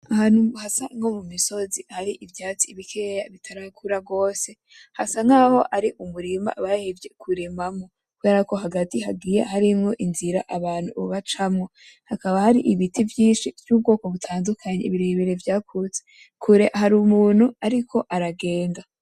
Ahantu hasa nko mumisozi hari ivyatsi bikeya bitarakura gose ,hasa nkaho ari umurima bahevye kurimamwo, kubera ko hagati hari inzira abantu bacamwo hakaba hari ibiti vyinshi vy'ubwoko butandukanye birebire vyakuze kure hari umuntu ariko ara aragenda